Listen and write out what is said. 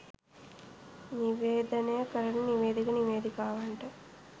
නිවේදනය කරන නිවේදක නිවේදිකාවන්ට